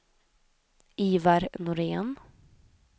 Ivar Norén